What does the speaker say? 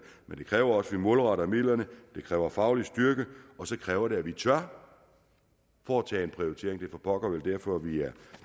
men det kræver også at vi målretter midlerne det kræver faglig styrke og så kræver det at vi tør foretage en prioritering vel for pokker derfor at vi er